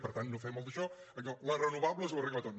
per tant no fem el daixò allò les renovables ho arreglen tot